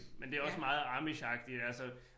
Men det også meget amishagtigt altså